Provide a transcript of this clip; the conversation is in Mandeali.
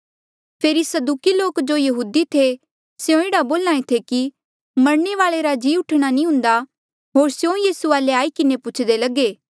फेरी सदूकी लोक जो यहूदी थे स्यों एह्ड़ा बोल्हा ऐें थे कि मरणे वाले रा जी उठणा नी हुंदा होर स्यों यीसू वाले आई किन्हें पुछदे लगे